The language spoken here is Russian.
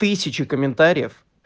тысячи комментариев